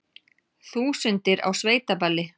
Þúsundir á sveitaballi